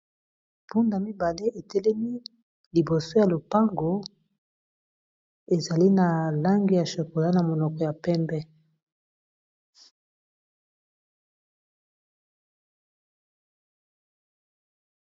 mpunda mibale etelemi liboso ya lopago ezali na lange ya chocola na monoko ya pembe